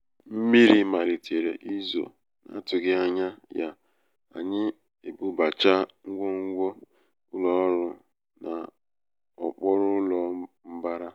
mmiri malitere izo n'atụghị ányá ya anyị ebubachaa ngwongwo um ụlọ ọrụ n'okpuru ụlọ mbara.